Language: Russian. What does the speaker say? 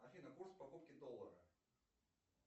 афина курс покупки доллара